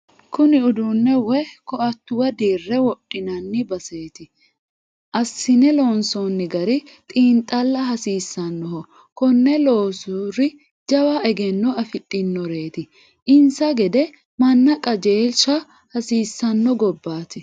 Kuni uduune woyi koatuwa dirre wodhinanni baseti assine loonsonni gari xiinxalla hasiisanoho konne loosuri jawa egenno afidhinoreti insa gede manna qajeelsha hasiisano gobbate.